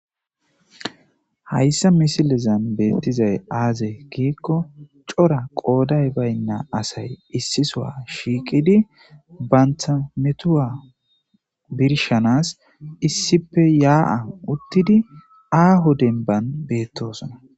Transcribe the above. Hayssa misilezan beettizay aaze giikko cora qooday baynna asay issisoa shiiqidi bantha metuwa birshanas issippe yaa7a uttidi aaho denban beettosona.